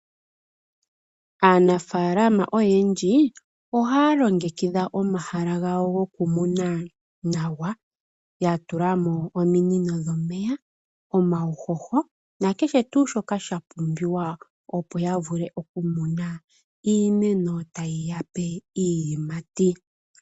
Aanafaalama oyendji ohaya longekidha omahala gawo gokumuna nawa, ya tula mo ominino dhomeya, omauhoho nakehe shimwe shoka sha pumbiwa opo ya vule oku muna iimeno ta yi ya pe iiyimati.